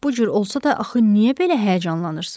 Lap bu cür olsa da axı niyə belə həyəcanlanırsız?